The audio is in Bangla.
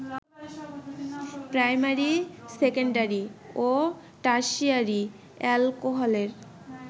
প্রাইমারি, সেকেন্ডারি ও টারসিয়ারি অ্যালকোহলের